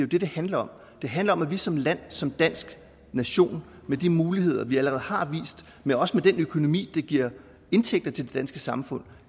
det det handler om det handler om at vi som land som dansk nation med de muligheder vi allerede har men også med den økonomi der giver indtægter til det danske samfund